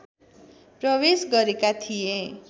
प्रवेश गरेका थिए